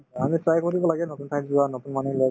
আমি try কৰিব লাগে নতুন ঠাইত যোৱা নতুন মানুহ লগ